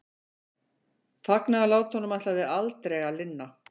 Fagnaðarlátunum ætlaði aldrei að linna.